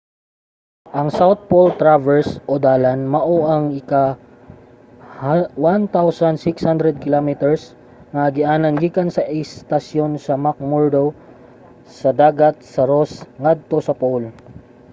ang south pole traverse o dalan mao ang usa ka 1600 km nga agianan gikan sa istasyon sa mcmurdo sa dagat sa ross ngadto sa pole